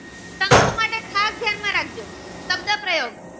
ફક્ત પ્રયોગ